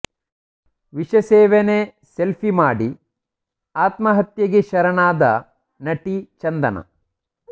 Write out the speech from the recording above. ವಿಷ ಸೇವನೆ ಸೆಲ್ಫಿ ಮಾಡಿ ಆತ್ಮಹತ್ಯೆಗೆ ಶರಣಾದ ನಟಿ ಚಂದನಾ